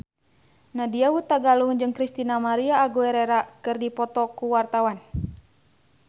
Nadya Hutagalung jeung Christina María Aguilera keur dipoto ku wartawan